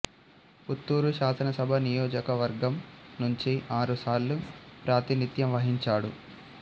పుత్తూరు శాసనసభ నియోజక వర్గం నుంచి ఆరు సార్లు ప్రాతినిథ్యం వహించాడు